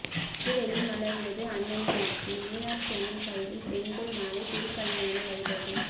மதுரையில் மலர்ந்தது அன்னையின் ஆட்சி மீனாட்சி அம்மன் கையில் செங்கோல் நாளை திருக்கல்யாண வைபோகம்